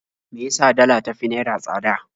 Me ya sa dala ta fi naira tsada?